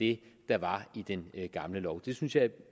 det der var i den gamle lov det synes jeg